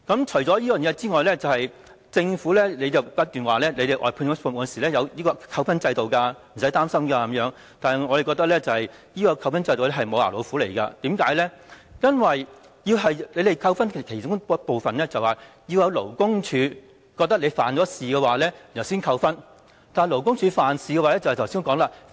此外，政府不斷提出，外判服務設有扣分制度，請大家不用擔心，但我們認為扣分制度只是"無牙老虎"，因為被扣分的其中一個原因是被勞工處判定犯事，但正如我剛才所說，勞工處如何才會判定僱主犯事呢？